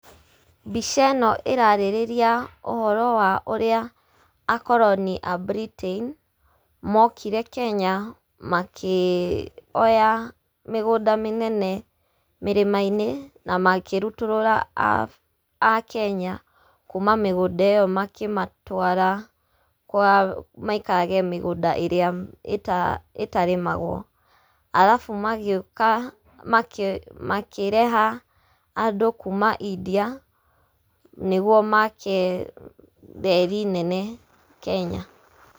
Mbica ĩno ĩrarĩrĩria ũhoro wa ũrĩa akoroni a Britain, mokire Kenya, makioya mĩgũnda mĩnene mĩrĩma-inĩ na makĩrutũrũra akenya kuuma mĩgũnda ĩyo makĩmatwara kwa maikarage mĩgũnda ĩrĩa itarĩmagwo, arabu magĩũka makĩreha andũ kuuma India, nĩguo make reri nene Kenya.